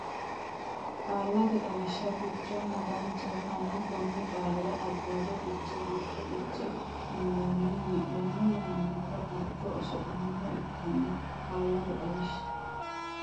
Qaallate Xawishsha Gurchonna Daanchaho hanni konni qaalira Addaarro Fiche gurcho fiche uynona wi laano yaannohura gurchu oso laano ikkanno Qaallate Xawishsha.